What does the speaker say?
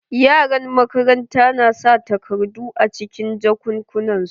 Yaran makaranta na sa takardu a cikin jakunnan su.